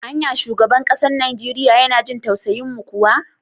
Anya shugaban kasar Nijeriya yana jin tausayin mu kuwa?